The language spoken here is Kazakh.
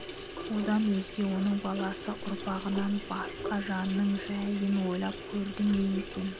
одан өзге оның баласы ұрпағынан басқа жанның жайын ойлап көрді ме екен